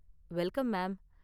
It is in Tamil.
Welcome, ma'am.